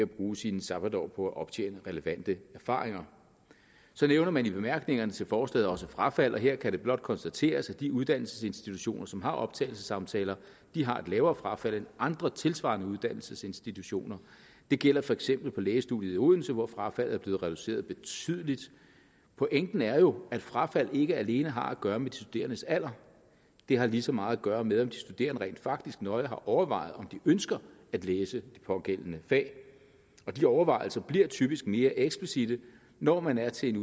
bruge sine sabbatår på at optjene relevante erfaringer så nævner man i bemærkningerne til forslaget også frafald og her kan det blot konstateres at de uddannelsesinstitutioner som har optagelsessamtaler har et lavere frafald end andre tilsvarende uddannelsesinstitutioner det gælder for eksempel for lægestudiet i odense hvor frafaldet er blevet reduceret betydeligt pointen er jo at frafald ikke alene har at gøre med de studerendes alder det har lige så meget at gøre med om de studerende rent faktisk nøje har overvejet om de ønsker at læse det pågældende fag de overvejelser bliver typisk mere eksplicitte når man er til en